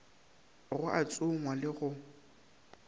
go a tsongwa le go